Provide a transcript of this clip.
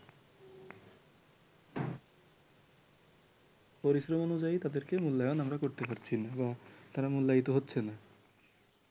পরিশ্রম অনুযায়ী তাদেরকে মূল্যায়ন আমরা করতে পারছি না বা তারা মুল্যায়িত হচ্ছে না